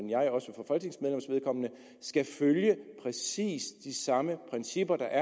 skal følge præcis de samme principper der